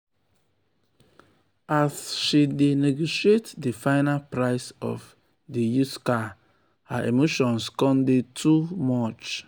as she dey negotiate di final price of di used car her emotions come dey too much.